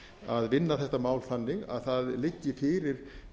að vinna þetta mál þannig að það liggi fyrir